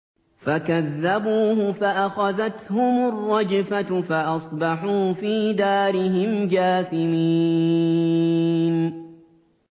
فَكَذَّبُوهُ فَأَخَذَتْهُمُ الرَّجْفَةُ فَأَصْبَحُوا فِي دَارِهِمْ جَاثِمِينَ